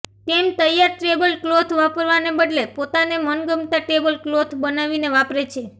તેમ તૈયાર tablecloth વાપરવાને બદલે પોતાને મનગમતાં ટેબલ ક્લોથ બનાવીને વાપરે છે